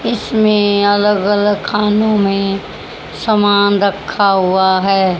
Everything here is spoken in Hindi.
इसमें अलग अलग खानो में समान रखा हुआ हैं।